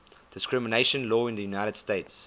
discrimination law in the united states